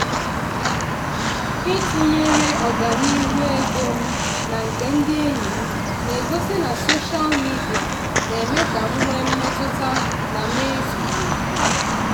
ịtụnyere ọganihu ego m na nke ndị enyi m na-egosi na soshal midia na-eme ka m nwee mmetụta na m ezughị oke.